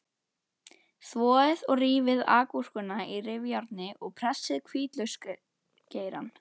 Þvoið og rífið agúrkuna á rifjárni og pressið hvítlauksgeirann.